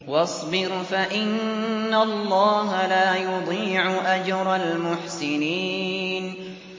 وَاصْبِرْ فَإِنَّ اللَّهَ لَا يُضِيعُ أَجْرَ الْمُحْسِنِينَ